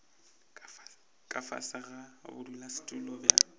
ka fase ga bodulasetulo bja